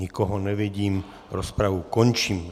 Nikoho nevidím, rozpravu končím.